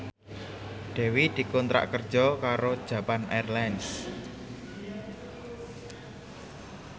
Dewi dikontrak kerja karo Japan Airlines